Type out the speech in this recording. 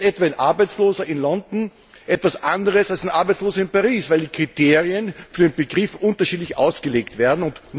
So ist etwa ein Arbeitsloser in London etwas anderes als ein Arbeitsloser in Paris, weil die Kriterien für diesen Begriff unterschiedlich ausgelegt werden.